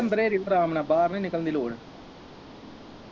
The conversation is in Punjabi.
ਅੰਦਰ ਹੋ ਜੀ ਆਰਾਮ ਨਾਲ ਬਾਹਰ ਨਹੀਂ ਨਿਕਲਣ ਦੀ ਲੋੜ